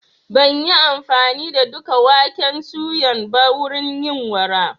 Ban yi amfani da duka waken suyan ba wurin yin awara.